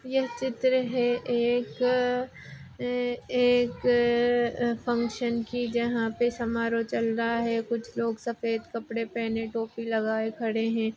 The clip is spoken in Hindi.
यह चित्र है एक ए एक फंक्शन की जहा पे समारोह चल रहा है कुछ लीग सफ़ेद कपड़े पहने टोपी लगाए खड़े है।